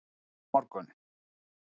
Hlýnar á morgun